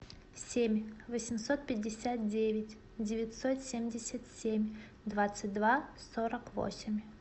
семь восемьсот пятьдесят девять девятьсот семьдесят семь двадцать два сорок восемь